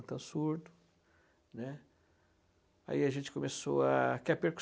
surdo, né. Ai a gente começou a quer